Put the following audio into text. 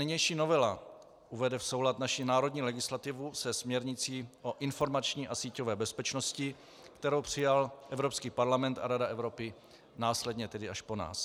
Nynější novela uvede v soulad naši národní legislativu se směrnicí o informační a síťové bezpečnosti, kterou přijal Evropský parlament a Rada Evropy následně tedy až po nás.